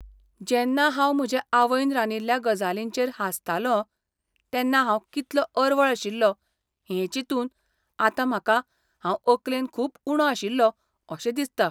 जेन्ना हांव म्हजे आवयन रांदिल्ल्या गजालींचेर हांसतालों तेन्ना हांव कितलो अरवळ आशिल्लों हें चिंतून आतां म्हाका हांव अकलेन खूब उणो आशिल्लों अशें दिसता.